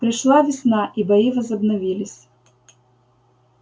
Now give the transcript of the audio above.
пришла весна и бои возобновились